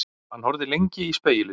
Hann horfði lengi í spegilinn.